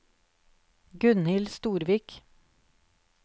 Gunhild Storvik